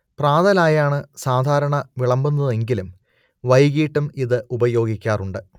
പ്രാതലായാണ് സാധാരണ വിളമ്പുന്നതെങ്കിലും വൈകീട്ടും ഇത് ഉപയോഗിക്കാറുണ്ട്